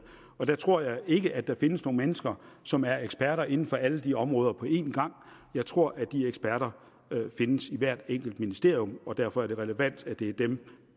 og der tror jeg ikke at der findes nogen mennesker som er ekspert inden for alle de områder på en gang jeg tror at de eksperter findes i hvert enkelt ministerium og derfor er det relevant at det er dem